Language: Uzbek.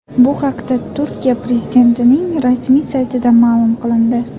Bu haqda Turkiya prezidentining rasmiy saytida ma’lum qilindi .